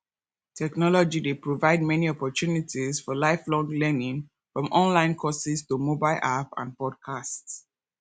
technology dey provide many opportunities for lifelong learning from online courses to mobile apps and podcasts